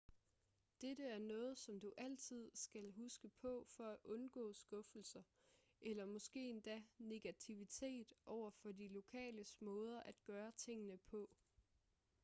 dette er noget som du altid skal huske på for at undgå skuffelser eller måske endda negativitet over de lokales måder at gøre tingene på